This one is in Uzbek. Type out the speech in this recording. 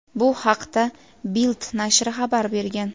Bu haqda "Bild" nashri xabar bergan.